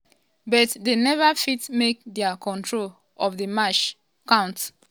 um but dem neva fit make dia control of di match um count.